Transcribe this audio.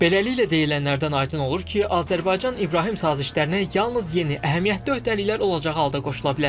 Beləliklə, deyilənlərdən aydın olur ki, Azərbaycan İbrahim sazişlərinə yalnız yeni əhəmiyyətli öhdəliklər olacağı halda qoşula bilər.